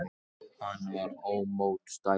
Hann var ómótstæðilegur.